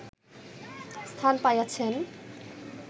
স্থান পাইয়াছেন